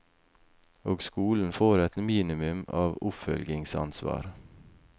Og skolen får et minimum av oppfølgingsansvar.